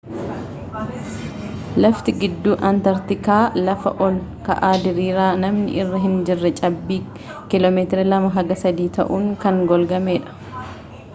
laftii gidduu antaarkitikaa lafa ol ka'aa diriiraa namni irra hinjirre cabbii km 2-3 tauun kan golgamee dha